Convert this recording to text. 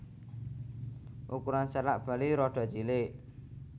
Ukuran salak Bali rada cilik